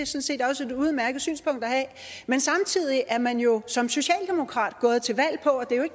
set også et udmærket synspunkt at have men samtidig er man jo som socialdemokrat gået til valg på